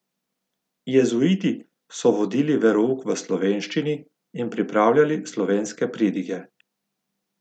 Jezuiti so vodili verouk v slovenščini in pripravljali slovenske pridige.